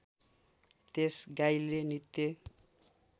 त्यस गाईले नित्य